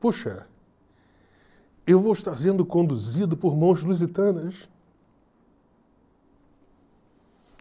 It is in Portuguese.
Puxa, eu vou estar sendo conduzido por mãos lusitanas.